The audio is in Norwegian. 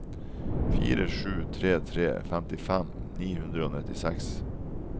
fire sju tre tre femtifem ni hundre og nittiseks